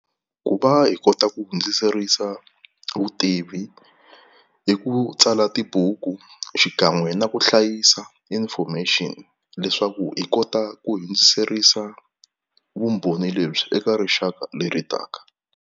Ku va hi kota ku hundziserisa vutivi i ku tsala tibuku, xikan'we na ku hlayisa information leswaku hi kota ku hundziserisa vumbhoni lebyi eka rixaka leri taka.